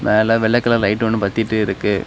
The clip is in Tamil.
மேல வெள்ளை கலர் லைட் ஒன்னு பத்திட்டு இருக்கு.